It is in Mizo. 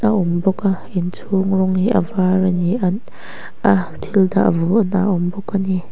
a awm bawk a inchhung rawng hi a var a ni at a thil dah vawhna a awm bawk a ni.